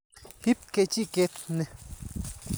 Ip kechiket ni.